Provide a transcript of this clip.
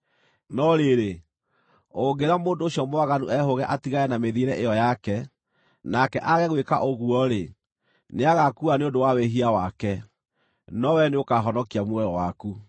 No rĩrĩ, ũngĩĩra mũndũ ũcio mwaganu ehũũge atigane na mĩthiĩre ĩyo yake, nake aage gwĩka ũguo-rĩ, nĩagaakua nĩ ũndũ wa wĩhia wake, no wee nĩũkahonokia muoyo waku.